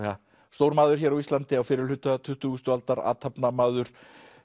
stór maður hér á fyrrihluta tuttugustu aldar athafnamaður